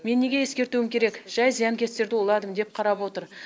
мен неге ескертуім керек жай зиянкестерді уладым деп қарап отыр